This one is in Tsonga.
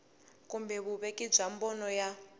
kumbe vuveki bya mbono wa